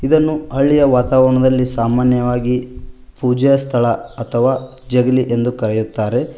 ಇದನ್ನು ಹಳ್ಳಿ ವಾತಾವರಣದಲ್ಲಿ ಸಾಮಾನ್ಯವಾಗಿ ಪೂಜಾ ಸ್ಥಳ ಅಥವಾ ಜಗಲಿ ಎಂದು ಕರೆಯುತ್ತಾರೆ.